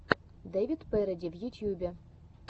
дэвид пэрэди в ютьюбе